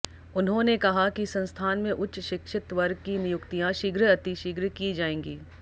उन्होंने कहा कि संस्थान में उच्च शिक्षित वर्ग की नियुक्तियां शीघ्र अतिशीघ्र की जाएंगी